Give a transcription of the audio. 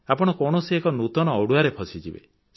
ଆପଣ କୌଣସି ଏକ ନୂତନ ଅଡ଼ୁଆରେ ଫସିଯିବେ